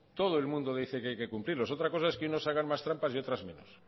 todo el mundo dice que hay que cumplirlos otra cosa es que unos hagan más trampas y otros menos